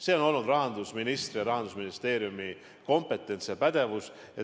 See on olnud rahandusministri ja Rahandusministeeriumi kompetents.